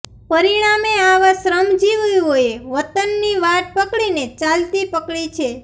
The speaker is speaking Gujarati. પરીણામે આવા શ્રમજીવીઓએ વતનની વાટ પકડીને ચાલતી પકડી છે